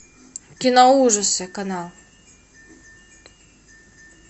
киноужасы канал